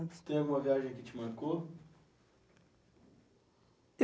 Tem alguma viagem que te marcou?